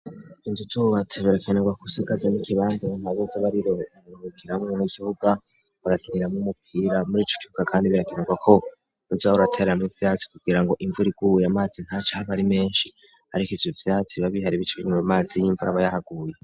Inzu zuubatsi birakenerwa ko usigaze n'ikibanza mu, maze z'abariro nmukiramwo misiuga bagakinira mwoumukira muri ico kuka, kandi birakenerwa ko nujahurateranure vyacu kugira ngo imvuraiguye amazi nta co ahabari menshi, ariko ivyo vyatu babihara ibicwenyuma amazi y'imvu ra abayahaguye.